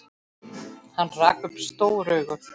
Hann rak upp stór augu.